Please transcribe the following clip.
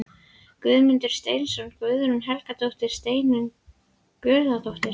Guðmundur Steinsson, Guðrún Helgadóttir, Steinunn Sigurðardóttir